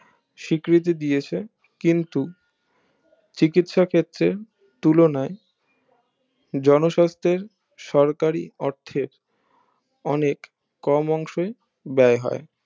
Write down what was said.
সীকৃতি দিয়েছে কিন্তু চিকিৎসা ক্ষেত্রে তুলনায় জনস্বাস্থ্যের সরকারি অর্থের অনেক কম অংশে বায় হয়